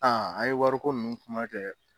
an ye wari ko ninnu kuma kɛ